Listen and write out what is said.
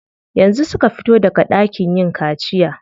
Yanzu suka fito daga ɗakin yin kaciya.